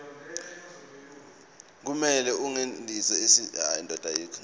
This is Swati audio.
kumele angenise sitifiketi